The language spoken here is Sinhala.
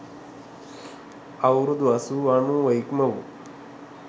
අවුරුදු අසූව අනූව ඉක්මවූ